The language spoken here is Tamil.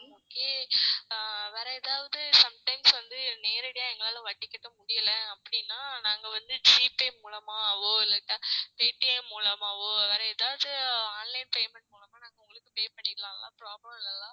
வேற எதாவது sometimes வந்து நேரடியா எங்களால வட்டி கட்ட முடியல அப்படின்னா நாங்க வந்து G பே மூலமாவோ இல்லாட்டா பே TM மூலமாவோ வேற எதாவது online payment மூலமா நாங்க உங்களுக்கு pay பண்ணிடலாம்ல problem இல்லல்ல